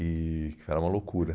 E era uma loucura.